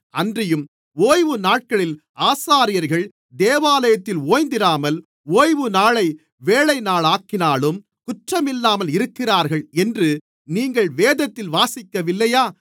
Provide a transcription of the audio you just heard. அன்றியும் ஓய்வுநாட்களில் ஆசாரியர்கள் தேவாலயத்தில் ஓய்ந்திராமல் ஓய்வுநாளை வேலைநாளாக்கினாலும் குற்றமில்லாமல் இருக்கிறார்கள் என்று நீங்கள் வேதத்தில் வாசிக்கவில்லையா